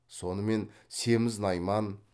сонымен семіз найман